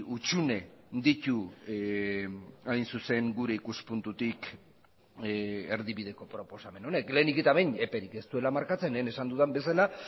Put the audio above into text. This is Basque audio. hutsune ditu hain zuzen gure ikuspuntutik erdibideko proposamen honek lehenik eta behin eperik ez duela markatzen lehen esan dudan bezala